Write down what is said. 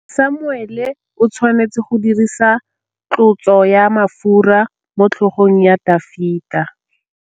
Samuele o tshwanetse go dirisa tlotsô ya mafura motlhôgong ya Dafita.